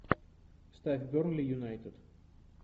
ставь бернли юнайтед